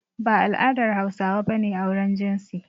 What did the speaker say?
Ba a al'adar Hausawa ba ne auren jinsi.